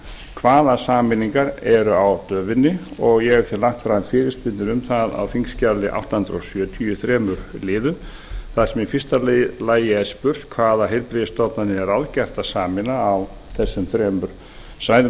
hvaða sameiningar eru á döfinni og ég hef lagt fram fyrirspurnir um það á þingskjali átta hundruð sjötíu í þremur liðum þar sem í fyrsta lagi er spurt fyrstu hvaða heilbrigðisstofnanir er ráðgert að sameina á vesturlandi vestfjörðum og norðurlandi samanber tilkynningu ráðuneytisins